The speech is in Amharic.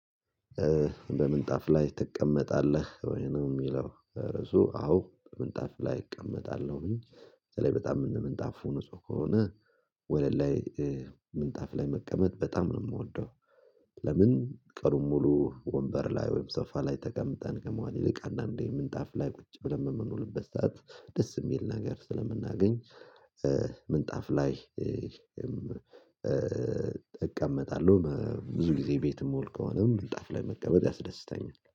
በምንጣፍ ላይ ትቀመጣለህ ወይ ነው የሚለው ርዕሱ? አዎ በምንጣፍ ላይ እቀመጣለሁኝ። ስለዚህ በጣም እንደ ምንጣፉ ንጹህ ከሆነ ወለል ላይ። ምንጣፍ ላይ መቀመጥ በጣም ነው የምወደው። ለምን ቀኑን ሙሉ ወንበር ላይ ወይም ሶፋ ላይ ተቀምጠን ከመዋል ይልቅ አንዳንዴ ምንጣፍ ላይ ቁጭ ብለን የምንለውበት ሰዓት ደስ የሚል ነገር ስለምናገኝ። ምንጣፍ ላይ። እቀመጣለሁ ብዙ ጊዜ ቤት ምውል ከሆነ እልጣፍ ላይ መቀመጥ ያስደስታኛል